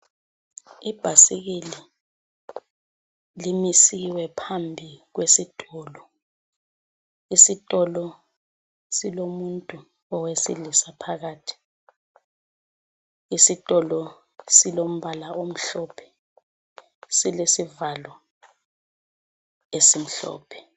Ibhasikili limisiwe phambi kwesitolo. Isitolo silomuntu owesilisa phakathi. Isitolo silombala omhlophe, silesivalo esimhlophe.